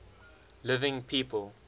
living people